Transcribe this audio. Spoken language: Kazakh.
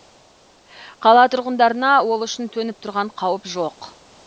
қала тұрғындарына ол үшін төніп тұрған қауіп жоқ